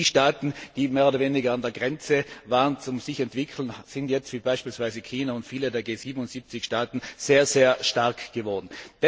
Und die Staaten, die mehr oder weniger an der Grenze waren, sich zu entwickeln, sind jetzt wie beispielsweise China und viele der G 77 Staaten sehr, sehr stark geworden.